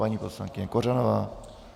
Paní poslankyně Kořanová.